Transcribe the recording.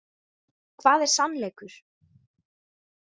Hvað er sannleikur?